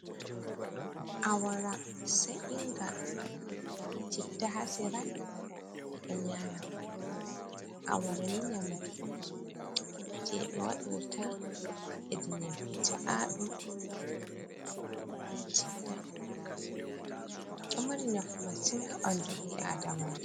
Awara s’inga be citta ha sera, ɓe ɗo nyama awara ni nyamdu on je ɓe waɗirta ednyabbe ca’amfminga on dubei’adamala.